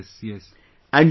Yes...yes